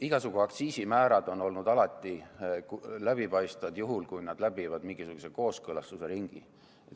Igasugu aktsiisimäärad on olnud alati läbipaistvad, juhul kui nad läbivad mingisuguse kooskõlastusringi.